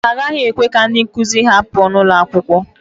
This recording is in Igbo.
Ha agaghị ekwe ka ndị nkụzi ha pụọ n'ụlọ akwụkwọ.